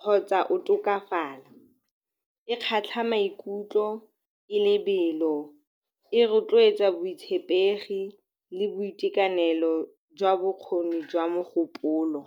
kgotsa o tokafala. E kgatlha maikutlo, e lebelo, e rotloetsa botshepegi le boitekanelo jwa bokgoni jwa mogopolo.